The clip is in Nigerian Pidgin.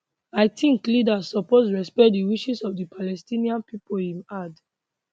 i tink leaders suppose respect di wishes of di palestinian pipo im add